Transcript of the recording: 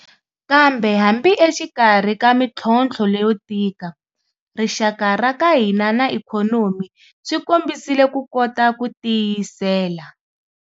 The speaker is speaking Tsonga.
Kambe hambi exikarhi ka mitlhontlho leyo tika, rixaka ra ka hina na ikhonomi swi kombisile ku kota ku tiyisela.